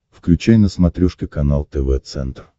включай на смотрешке канал тв центр